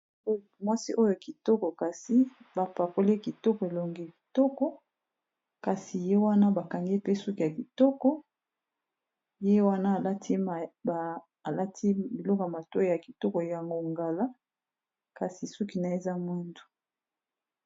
Mwasi oyo kitoko kasi bapakole kitoko elongi kitoko kasi ye wana bakangi pe suki ya kitoko ye wana alati biloka mato ya kitoko ya ngongala kasi suki na eza mwindu.